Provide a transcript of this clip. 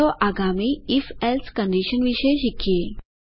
ચાલો આગામી if else condition વિશે શીખીએ